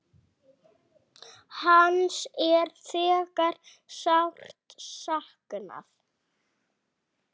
Hans er þegar sárt saknað.